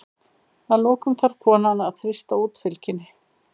Að lokum þarf konan að þrýsta út fylgjunni.